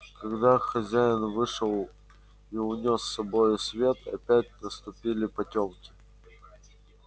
когда хозяин вышел и унёс с собою свет опять наступили потёмки